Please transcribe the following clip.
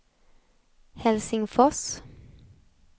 Helsingfors